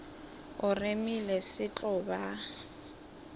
o remile se tlo ba